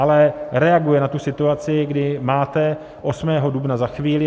Ale reaguje na tu situaci, kdy máte 8. dubna za chvíli.